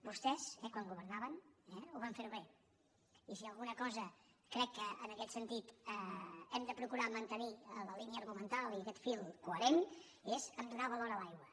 vostès quan governaven van fer ho bé i si en alguna cosa crec que en aquest sentit hem de procurar mantenir la línia argumental i aquest fil coherent és a donar valor a l’aigua